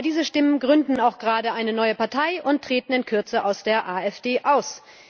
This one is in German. Aber diese Stimmen gründen auch gerade eine neue Partei und treten in Kürze aus der AfD aus.